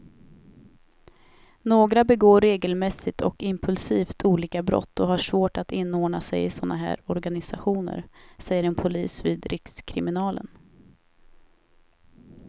Några begår regelmässigt och impulsivt olika brott och har svårt att inordna sig i såna här organisationer, säger en polis vid rikskriminalen.